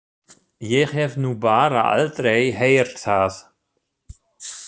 Ég hef nú bara aldrei heyrt það.